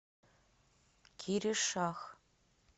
киришах